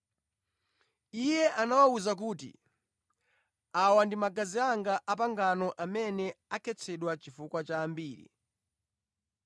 Iye anawawuza kuti, “Awa ndi magazi anga a pangano amene akhetsedwa chifukwa cha ambiri.